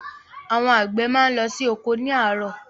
Àwọn àgbẹ máa n lọ sí oko ni àárọ̀.